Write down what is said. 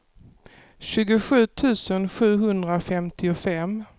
tjugosju tusen sjuhundrafemtiofem